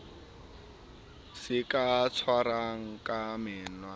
se ka tshwarwang ka menwana